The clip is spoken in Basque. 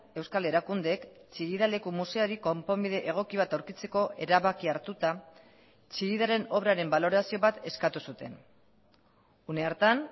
euskal erakundeek chillida leku museoari konponbide egoki bat aurkitzeko erabakia hartuta chillidaren obraren balorazio bat eskatu zuten une hartan